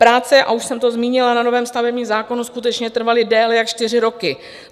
Práce, a už jsem to zmínila, na novém stavebním zákonu skutečně trvaly déle jak čtyři roky.